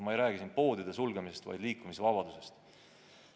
Ma ei räägi siin poodide sulgemisest, vaid liikumisvabadusest.